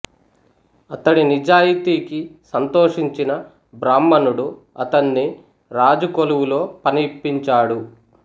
అతడి నిజాయితీకి సంతోషించిన బ్రాహ్మణుడు అతణ్ణి రాజు కొలువులో పని ఇప్పించాడు